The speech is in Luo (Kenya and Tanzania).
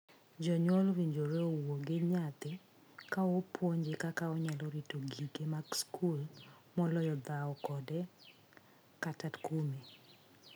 Janyuol owinjore owuo gi nyathi ka opuonje kaka onyalo rito gige mag skul moloyo dhawo kode kata kume.